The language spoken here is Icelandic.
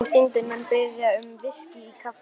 Og Syndin mun biðja um VISKÍ í kaffið.